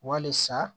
Walisa